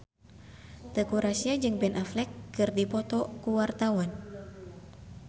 Teuku Rassya jeung Ben Affleck keur dipoto ku wartawan